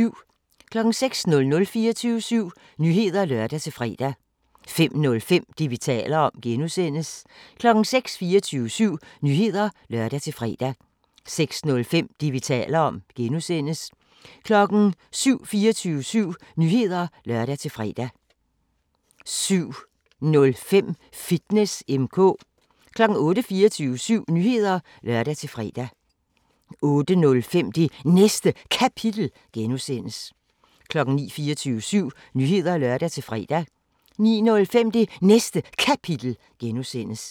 05:00: 24syv Nyheder (lør-fre) 05:05: Det, vi taler om (G) 06:00: 24syv Nyheder (lør-fre) 06:05: Det, vi taler om (G) 07:00: 24syv Nyheder (lør-fre) 07:05: Fitness M/K 08:00: 24syv Nyheder (lør-fre) 08:05: Det Næste Kapitel (G) 09:00: 24syv Nyheder (lør-fre) 09:05: Det Næste Kapitel (G)